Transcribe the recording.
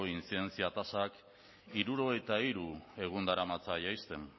intzidentzia tasak hirurogeita hiru egun daramatza jaisten